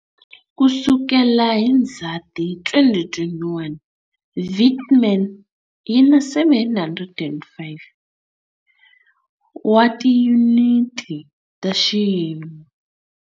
Ku sukela hi Ndzhati 2021, Vietnam yi na 705 wa tiyuniti ta xiyimo.